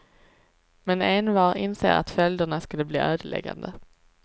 Men envar inser att följderna skulle bli ödeläggande.